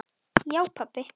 Já pabbi.